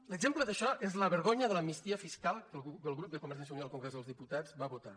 l’exemple d’això és la vergonya de l’amnistia fiscal que el grup de convergència i unió al congrés dels diputats va votar